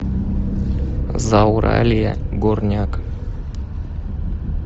зауралье горняк